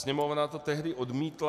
Sněmovna to tehdy odmítla.